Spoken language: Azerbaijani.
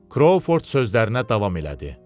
Krovford sözlərinə davam elədi.